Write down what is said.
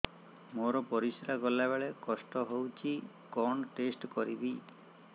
ମୋର ପରିସ୍ରା ଗଲାବେଳେ କଷ୍ଟ ହଉଚି କଣ ଟେଷ୍ଟ କରିବି